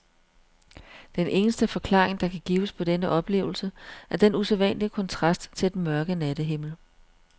Den eneste forklaring, der kan gives på denne oplevelse, er den usædvanlige kontrast til den mørke nattehimmel.